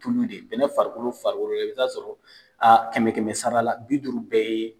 Tulu de ye. Bɛnɛn farikolo fari la i be t'a sɔrɔ a kɛmɛ kɛmɛ sara la bi duuru bɛɛ ye